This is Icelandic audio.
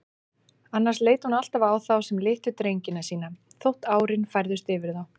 Annars leit hún alltaf á þá sem litlu drengina sína, þótt árin færðust yfir þá.